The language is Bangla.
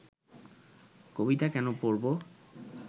কবিতা কেন পড়ব